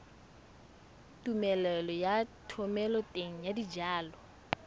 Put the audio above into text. tumelelo ya thomeloteng ya dijalo